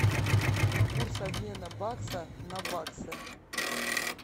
курс обмена бакса на баксы